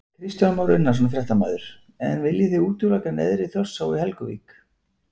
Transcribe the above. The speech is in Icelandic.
Kristján Már Unnarsson, fréttamaður: En viljið þið útiloka neðri Þjórsá í Helguvík?